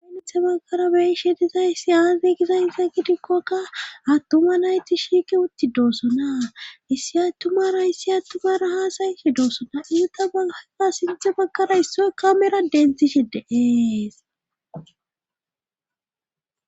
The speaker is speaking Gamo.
Sinethe baggara beishe dizayissi aazigiza insa gidikkokka attuma nayti shiike utti doossonaa issi attumara issi attumara haasayi shi doosona iuta baaka sinthe baggara issoy kamera denthishe deees.